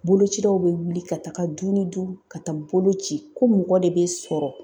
Bolocilaw bɛ wuli ka taa du ni du ka taa bolo ci ko mɔgɔ de bɛ sɔrɔ